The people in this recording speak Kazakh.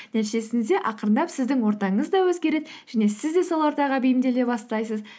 нәтижесінде ақырындап сіздің ортаңыз да өзгереді және сіз де сол ортаға бейімделе бастайсыз